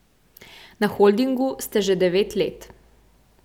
Na holdingu ste že devet let.